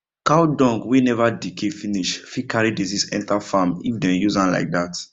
cow dung wey never decay finish fit carry disease enter farm if dem use am like that